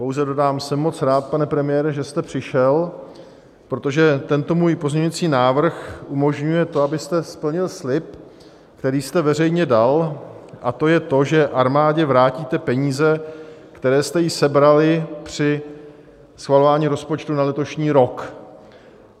Pouze dodám, jsem moc rád, pane premiére, že jste přišel, protože tento můj pozměňovací návrh umožňuje to, abyste splnil slib, který jste veřejně dal, a to je to, že armádě vrátíte peníze, které jste jí sebrali při schvalování rozpočtu na letošní rok.